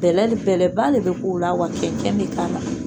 Bɛlɛli bɛlɛba le bɛ k'u la wa cɛncɛn bɛ k'a la.